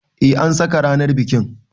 Eh an saka ranar bikin.